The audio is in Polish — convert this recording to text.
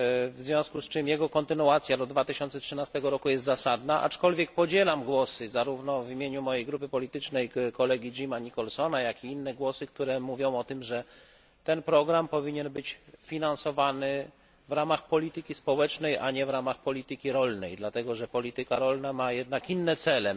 W związku z czym jego kontynuacja do 2013 roku jest zasadna, aczkolwiek podzielam głosy zarówno w imieniu mojej grupy politycznej kolegi Jamesa Nicholsona jak i inne, zgodnie z którymi ten program powinien być finansowany w ramach polityki społecznej, a nie w ramach polityki rolnej, dlatego że polityka rolna ma jednak inne cele.